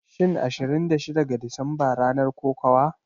Shin Ashirin da shida ga Disamba ranar kokawa?